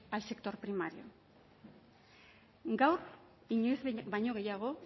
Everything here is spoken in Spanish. al sector primario gaur inoiz baino gehiago